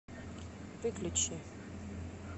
выключи